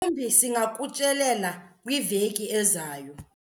Mhlawumbi singakutyelela kwiveki ezayo.